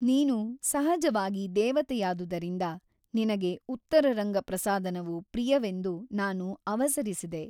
ನೀನು ಸಹಜವಾಗಿ ದೇವತೆಯಾದುದರಿಂದ ನಿನಗೆ ಉತ್ತರರಂಗ ಪ್ರಸಾದನವು ಪ್ರಿಯವೆಂದು ನಾನು ಅವಸರಿಸಿದೆ.